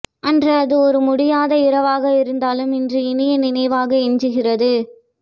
அன்று அது ஒரு முடியாத இரவாக இருந்தாலும் இன்று இனிய நினைவாக எஞ்சுகிறது